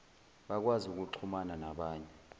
bakwazi ukuxhumana nabanye